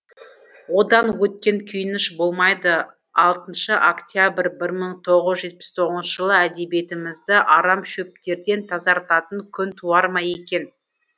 одан өткен күйініш болмайды алтыншы октябрь бір мың тоғыз жүз жетпіс тоғызыншы жылы әдебиетімізді арам шөптерден тазартатын күн туар ма екен